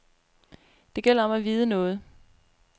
Det gælder om at vide noget.